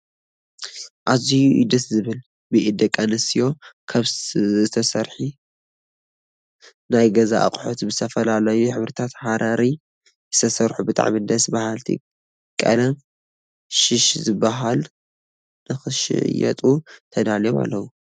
ኣዝዩ እዩ ደስ ዝብሉ !ብኢድ ደቂ ኣንስትዮ ካብ ዝተሰርሒ ናይ ገዛ ኣቁሑት ብዝተፈላለዩ ሕብሪታት ሃረሪ ዝተሰርሑ ብጣዕሚ ደስ በሃልቲ ቀለም ሽሽ ዝበሃል ንኽሽየጡ ተዳልዮም ኣለው።